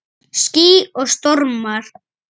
Ský og stormar